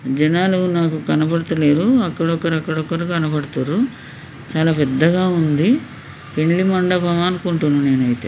జనాలు నాకు కనబడతలేరు. అక్కడ ఒకరు అక్కడ ఒకరు కనబడుతుండ్రు. చాలా పెద్దగా ఉంది. పెండ్లి మండపం అనుకుంటున్నా నేనైతే.